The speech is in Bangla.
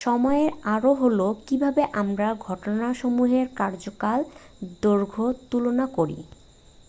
সময় আরও হলো কীভাবে আমরা ঘটনাসমূহের কার্যকাল দৈর্ঘ্য তুলনা করি।